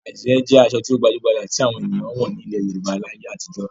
Àdìrẹ́ jẹ́ aṣọ tó gbajú-gbajà tí àwọn ènìyàn nílẹ̀ Yorùbá láyé àtijọ́.